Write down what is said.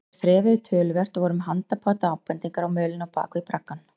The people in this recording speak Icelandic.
Þeir þrefuðu töluvert og voru með handapat og bendingar á mölinni á bak við braggann.